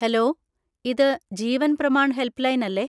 Hello! ഇത് Jeevan Pramaan helpline അല്ലേ?